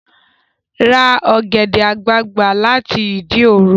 Ra ọ̀gẹ̀dẹ̀ àgbagbà láti Ìdí òro!